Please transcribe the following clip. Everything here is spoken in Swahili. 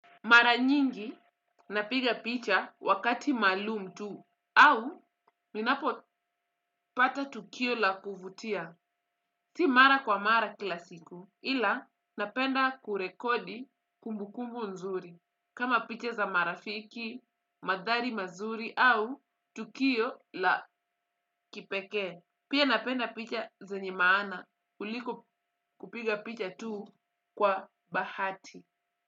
Mara nyingi, napiga picha wakati maalum tuu, au ninapo pata tukio la kuvutia. Si mara kwa mara kila siku, ila napenda kurekodi kumbukumbu nzuri, kama picha za marafiki, madhari mazuri, au tukio la kipekee. Pia napenda picha zenye maana, kuliko kupiga picha tuu kwa bahati.